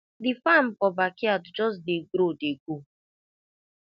the farm for backyard just dey grow dey go